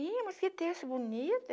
Ih, mas que terço bonito!